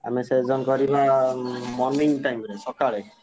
ଆମେ session କରିବା morning time ରେ ସକାଳେ।